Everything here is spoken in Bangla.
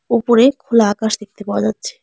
ওপরে খোলা আকাশ দেখতে পাওয়া যাচ্ছে।